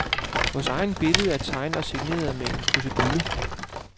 Vores billede er tegnet og signeret med en krusedulle.